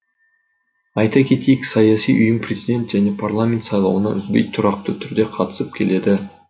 айта кетейік саяси ұйым президент және парламент сайлауына үзбей тұрақты түрде қатысып келеді